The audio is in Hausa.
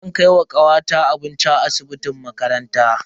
Zan kai ma kawata abinci a asibitin makaranta.